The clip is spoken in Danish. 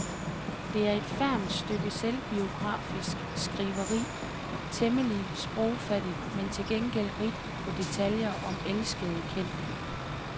Det er et fermt stykke selvbiografisk skriveri, temmelig sprogfattigt men til gengæld rigt på detaljer om elskede kendte.